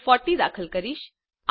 હું 40 દાખલ કરીશ